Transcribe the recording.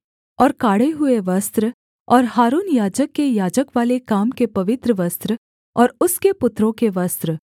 और काढ़े हुए वस्त्र और हारून याजक के याजकवाले काम के पवित्र वस्त्र और उसके पुत्रों के वस्त्र